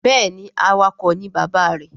Béèni awakọ̀ ni bàbá rẹ.